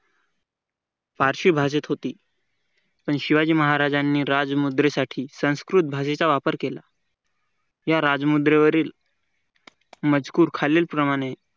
पारशी भाषेत होती पण शिवाजी महाराजांनी राजमुद्रेसाठी संस्कृत भाषेचा उपयोग केला. या राजमुद्रेवरील मजकूर खालील प्रमाणे